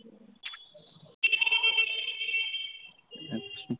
আছা